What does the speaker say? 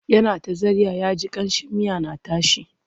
Yana ta zarya ya ji ƙamshin miya na tashi.